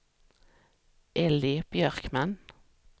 Elly Björkman